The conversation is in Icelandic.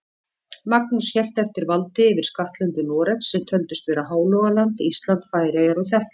Magnús hélt eftir valdi yfir skattlöndum Noregs, sem töldust vera Hálogaland, Ísland, Færeyjar og Hjaltland.